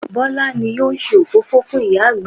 Bọlá ni ó ṣe òfófó fún ìyá àgbà